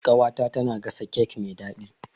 Ƙawata tana gasa kek mai daɗi.